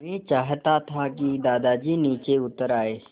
मैं चाहता था कि दादाजी नीचे उतर आएँ